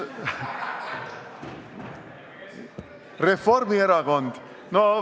Reformierakond!